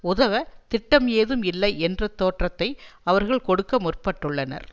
உதவ திட்டம் ஏதும் இல்லை என்ற தோற்றத்தை அவர்கள் கொடுக்க முற்பட்டுள்ளனர்